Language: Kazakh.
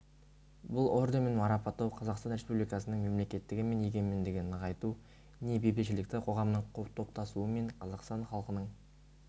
бұл орденмен марапаттау қазақстан республикасынын мемлекеттігі мен егемендігін нығайту не бейбітшілікті қоғамның топтасуы мен қазақстан халқының